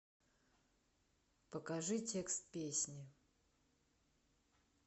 покажи текст песни